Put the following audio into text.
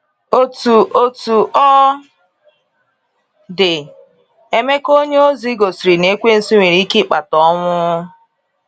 Otú Otú ọ dị ,Emeka onyeozi gosiri na Ekwensu nwere ike ịkpata ọnwụ.